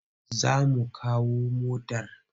Za mu kawo motar.